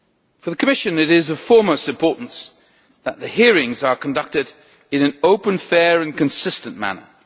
For the Commission, it is of foremost importance that the hearings are conducted in an open, fair and consistent manner.